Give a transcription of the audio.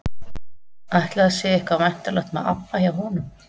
Ætli að sé eitthvað væntanlegt með ABBA hjá honum?